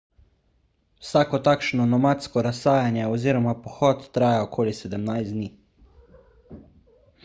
vsako takšno nomadsko razsajanje oziroma pohod traja okoli 17 dni